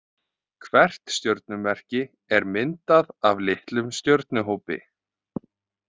Hvert stjörnumerki er myndað af litlum stjörnuhópi.